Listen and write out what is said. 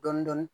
Dɔɔnin dɔɔnin